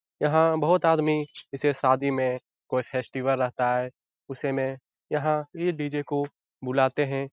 यहाँ बहुत आदमी जैसे शादी में कोई फेस्टिवल रहता है उस समय यहाँ ये डी.जे. को बुलाते है।